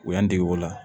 U y'an dege o la